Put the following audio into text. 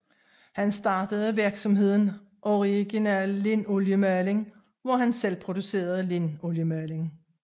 Han startede virksomheden Original Lindoliemaling hvor han selv producerede linoliemaling